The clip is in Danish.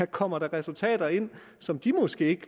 kommer resultater ind som de måske